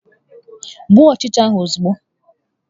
Gbuo ọchịcha ahụ ozugbo!